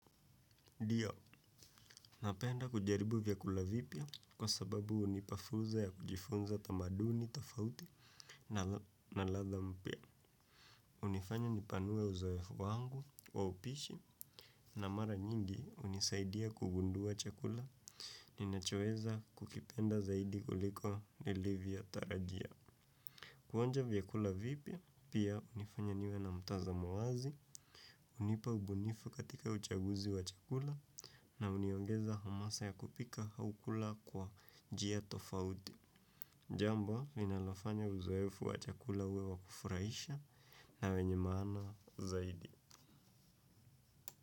Dio, napenda kujaribu vyakula vipya kwa sababu hunipa furza ya kujifunza tamaduni, tofauti na ladha mpya. Unifanya nipanue uzoefu wangu wa upishi na mara nyingi hunisaidia kugundua chakula ninachoeza kukipenda zaidi kuliko nilivyotarajia. Kuonja vyakula vipya, pia hunifanya niwe na mtazamo wazi, hunipa ubunifu katika uchaguzi wa chakula, na uniongeza hamasa ya kupika hau kula kwa njia tofauti. Jambo, linalofanya uzoefu wa chakulauwe wa kufurahisha na wenye maana zaidi.